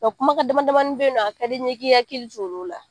Nka kumakan damadamani bɛ yen nɔ a ka di n ye i k'i hakili to lu la